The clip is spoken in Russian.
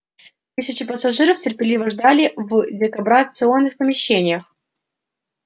тысячи пассажиров терпеливо ждали в дебаркационных помещениях